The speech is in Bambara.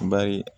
Bari